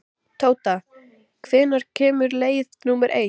Tóta, hvenær kemur leið númer eitt?